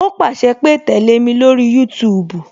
O pàṣẹ pé "tẹle mi lórí YouTube